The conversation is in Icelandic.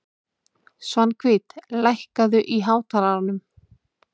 Svanhvít, lækkaðu í hátalaranum.